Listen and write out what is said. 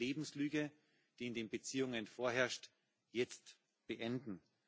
Wir müssen die Lebenslüge, die in den Beziehungen vorherrscht jetzt beenden.